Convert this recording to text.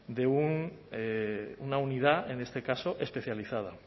de una unidad en este caso especializada